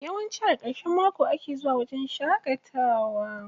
Yawanci a ƙarshen mako ake zuwa wajen shaƙatawa.